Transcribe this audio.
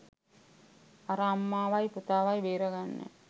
අර අම්මාවයි පුතාවයි බේරාගන්න